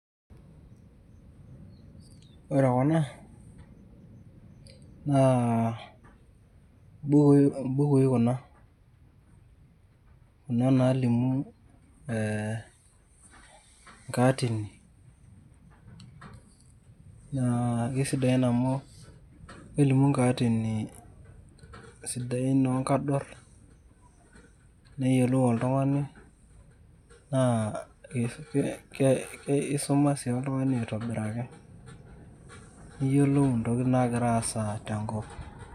Ore kuna, naa bukui kuna. Kuna nalimu eh nkaatini, na kesidain amu kelimu nkaatini sidain onkador, neyiolou oltung'ani, naa isuma si oltung'ani aitobiraki. Niyiolou intokiting nagira aasa tenkop.